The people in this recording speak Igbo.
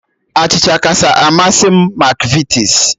Achịcha kacha amasị m bụ Makvitis